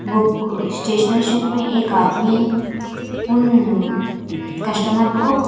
book stationery shop में एक आदमी उन कस्टमर को--